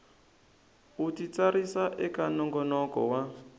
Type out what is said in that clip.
u titsarisa eka nongonoko wa